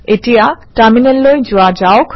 এতিয়া টাৰমিনেললৈ যোৱা যাওক